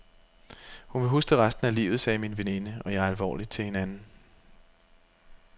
Hun vil huske det resten af livet, sagde min veninde og jeg alvorligt til hinanden.